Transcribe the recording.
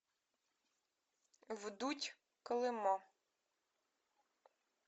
вдудь колыма